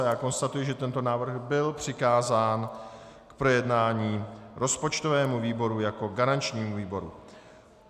A já konstatuji, že tento návrh byl přikázán k projednání rozpočtovému výboru jako garančnímu výboru.